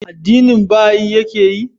Addinin baha'i ya ke yi?